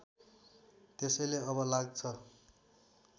त्यसैले अब लाग्छ